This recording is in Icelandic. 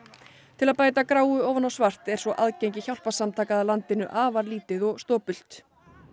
til að bæta gráu ofan á svart er svo aðgengi hjálparsamtaka að landinu afar lítið og stopult